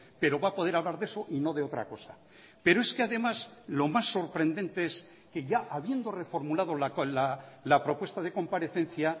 pero va a poder hablar de eso y no de otra cosa pero es que además lo más sorprendente es que ya habiendo reformulado la propuesta de comparecencia